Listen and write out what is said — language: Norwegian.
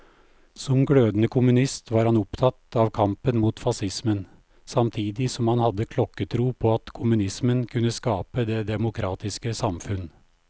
Som glødende kommunist var han opptatt av kampen mot facismen, samtidig som han hadde klokketro på at kommunismen kunne skape det demokratiske samfunn.